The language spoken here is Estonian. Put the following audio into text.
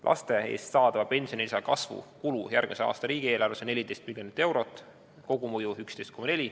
Laste eest saadava pensionilisa kasvu kulu järgmise aasta riigieelarves on 14 miljonit eurot, kogumõju 11,4.